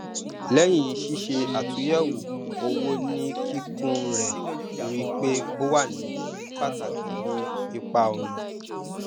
lẹyìn ṣíṣe àtúnyẹwò owó ní kíkún rẹ rí i pé ó wà ní pàtàkì ní ipa ọnà